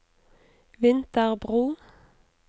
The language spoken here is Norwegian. Vinterbro